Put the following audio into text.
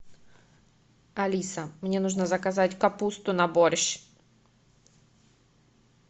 алиса мне нужно заказать капусту на борщ